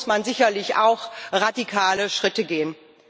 Dazu muss man sicherlich auch radikale Schritte gehen.